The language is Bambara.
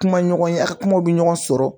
Kuma ɲɔgɔnya a kumaw bɛ ɲɔgɔn sɔrɔ